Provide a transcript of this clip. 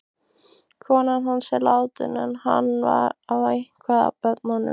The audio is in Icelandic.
Konan hans er látin en hann á eitthvað af börnum.